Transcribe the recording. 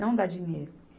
Não dar dinheiro.